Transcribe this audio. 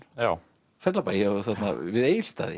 Fellabæ við Egilsstaði